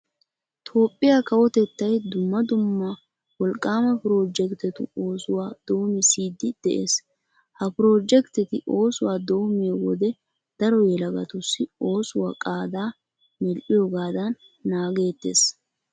Toophphiya kawotettay dumma dumma wolqqaama piroojekttetu oosuwa doomissiiddi de'ees. Ha piroojektteti oosuwa doommiyo wode daro yelagatussi oosuwa qaadaa medhdhiyogaadan naagettees.